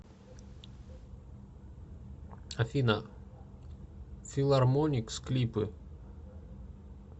афина филармоникс клипы